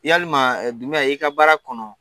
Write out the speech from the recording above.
Yalima Dundiya i ka baara kɔnɔ